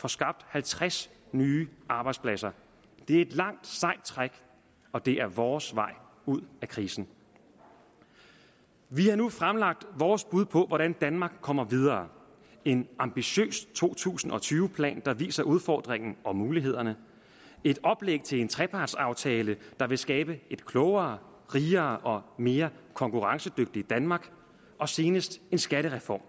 får skabt halvtreds nye arbejdspladser det er et langt sejt træk og det er vores vej ud af krisen vi har nu fremlagt vores bud på hvordan danmark kommer videre en ambitiøs to tusind og tyve plan der viser udfordringen og mulighederne et oplæg til en trepartsaftale der vil skabe et klogere rigere og mere konkurrencedygtigt danmark og senest en skattereform